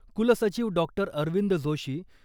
कुलसचिव डॉक्टर अरविंद जोशी